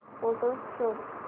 photos शोध